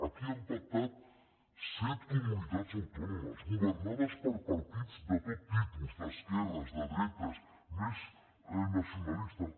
aquí han pactat set comunitats autònomes governades per partits de tots tipus d’esquerres de dretes més nacionalistes